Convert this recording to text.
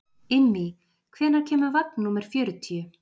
Immý, hvenær kemur vagn númer fjörutíu?